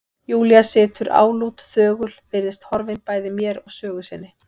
Júlía situr álút, þögul, virðist horfin bæði mér og sögu sinni.